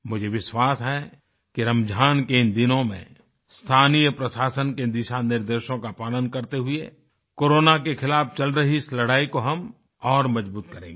मुझे विश्वास है कि रमज़ान के इन दिनों में स्थानीय प्रशासन के दिशानिर्देशों का पालन करते हुए कोरोना के खिलाफ़ चल रही इस लड़ाई को हम और मज़बूत करेंगे